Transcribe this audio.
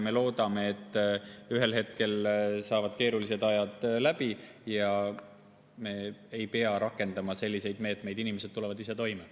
Me loodame, et ühel hetkel saavad keerulised ajad läbi, me ei pea rakendama selliseid meetmeid ja inimesed tulevad ise toime.